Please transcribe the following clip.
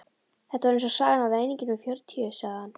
Þetta var eins og sagan af ræningjunum fjörutíu, sagði hann.